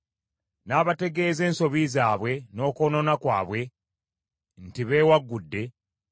n’abategeeza ensobi zaabwe, n’okwonoona kwabwe, nti, beewaggudde,